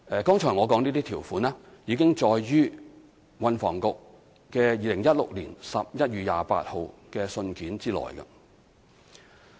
剛才我說的這些條款已載於運輸及房屋局2016年11月28日的信件內。